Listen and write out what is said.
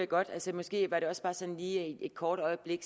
godt altså måske var det også bare sådan lige et kort øjeblik